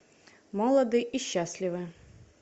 молоды и счастливы